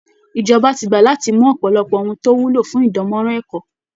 Ìjọba ti gbà láti mú ọ̀pọ̀lọpọ̀ ohun tó wúlò fún ìdánmọ́rán ẹ̀kọ́